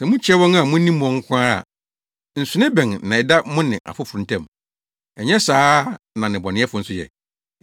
Sɛ mukyia wɔn a munim wɔn nko ara a, nsonoe bɛn na ɛda mo ne afoforo ntam? Ɛnyɛ saa ara na nnebɔneyɛfo nso yɛ?